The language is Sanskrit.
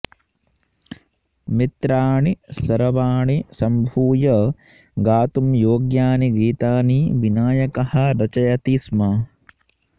मित्राणि सर्वाणि सम्भूय गातुं योग्यानि गीतानि विनायकः रचयति स्म